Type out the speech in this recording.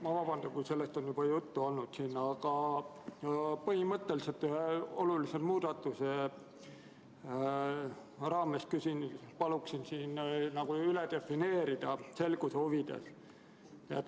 Ma vabandan, kui sellest on siin juba juttu olnud, aga ma põhimõtteliselt ühe olulise muudatuse raames küsin ja palun siin selguse huvides see üle defineerida.